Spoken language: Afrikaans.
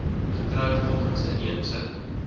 getroud volgens inheemse